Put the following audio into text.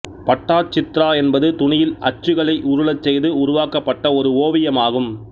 பட்டாச்சித்ரா என்பது துணியில் அச்சுகளை உருளச்செய்து உருவாக்கப்பட்ட ஒரு ஓவியமாகும்